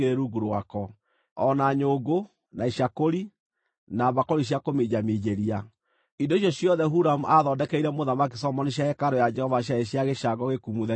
o na nyũngũ, na icakũri, na mbakũri cia kũminjaminjĩria. Indo icio ciothe Huramu aathondekeire Mũthamaki Solomoni cia hekarũ ya Jehova ciarĩ cia gĩcango gĩkumuthe gĩkahenia.